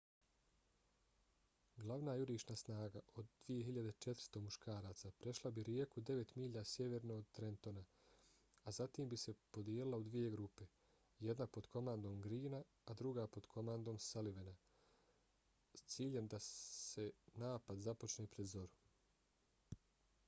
glavna jurišna snaga od 2.400 muškaraca prešla bi rijeku devet milja sjeverno od trentona a zatim bi se podijelila u dvije grupe – jedna pod komandom greena a druga pod komandom sullivana s ciljem da se napad započne pred zoru